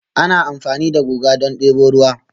Ana amfani da guga don debo ruwa